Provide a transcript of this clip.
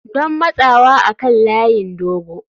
Don matsawa kan layin dogo.